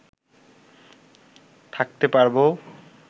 থাকতে পারব